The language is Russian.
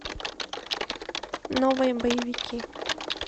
новые боевики